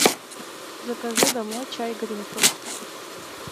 закажи домой чай гринфилд